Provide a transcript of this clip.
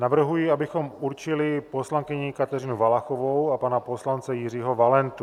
Navrhuji, abychom určili poslankyni Kateřinu Valachovou a pana poslance Jiřího Valentu.